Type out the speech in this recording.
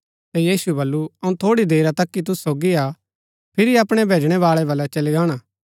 ता यीशुऐ बल्लू अऊँ थोड़ी देरा तक ही तुसु सोगी हा फिरी अपणै भैजणै बाळै बलै चली गाणा